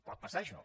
pot passar això